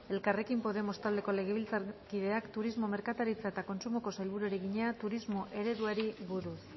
elkarrekin podemos taldeko legebiltzarkideak kultura eta hizkuntza politikako sailburuari egina donostiako arte ederretako eraikinaren deskatalogatzeari buruz